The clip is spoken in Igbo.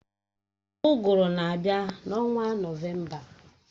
Uguru na-abịa n'ọnwa nọvemba